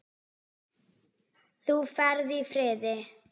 Þú ferð í friði.